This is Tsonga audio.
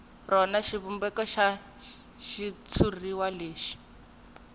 rona xivumbeko xa xitshuriwa lexi